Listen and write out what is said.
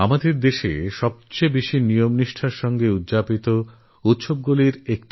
আমাদের দেশে সবথেকেবেশি নিয়মনিষ্ঠার সঙ্গে পালিত উৎসবের মধ্যে একটা